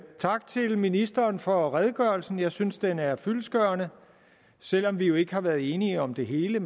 tak til ministeren for redegørelsen jeg synes den er fyldestgørende og selv om vi ikke har været enige om det hele